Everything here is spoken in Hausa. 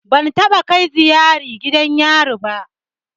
Ban taɓa kai ziyara gidan yari ba.